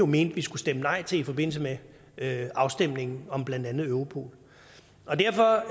mente vi skulle stemme nej til i forbindelse med med afstemningen om blandt andet europol derfor